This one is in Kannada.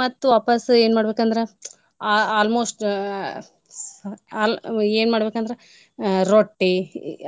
ಮತ್ತ್ ವಾಪಸ್ ಏನ್ ಮಾಡ್ಬೇಕಂದ್ರ ಆ~ almost ಅ ಆಲ್~ ಏನ್ ಮಾಡ್ಬೇಕಂದ್ರ ರೊಟ್ಟೀ